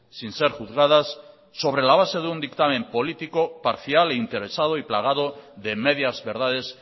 sin ser juzgadas sobre la base de un dictamen político parcial e interesado y plagado de medias verdades